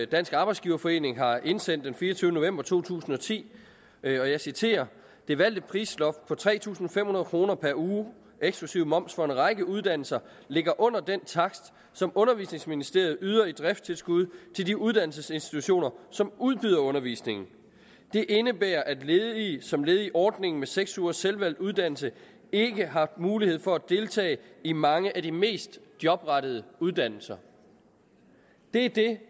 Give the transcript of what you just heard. dansk arbejdsgiverforening har indsendt den fireogtyvende november to tusind og ti og jeg citerer det valgte prisloft på tre tusind fem hundrede kroner per uge eksklusiv moms for en række uddannelser ligger under den takst som undervisningsministeriet yder i driftstilskud til de uddannelsesinstitutioner som udbyder undervisningen det indebærer at ledige som led i ordningen med seks ugers selvvalgt uddannelse ikke har mulighed for at deltage i mange af de mest jobrettede uddannelser det er det